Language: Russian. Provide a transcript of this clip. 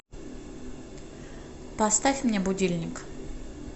поставь мне будильник